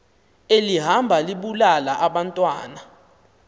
elihamba libulala abantwana